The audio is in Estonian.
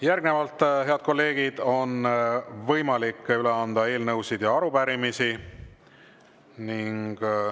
Järgnevalt, head kolleegid, on võimalik üle anda eelnõusid ja arupärimisi.